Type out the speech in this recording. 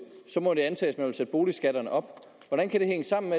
må antages at boligskatterne op hvordan kan det hænge sammen